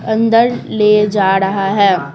अंदर ले जा रहा है।